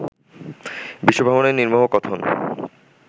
বিশ্বভ্রমণের নির্মোহ কথন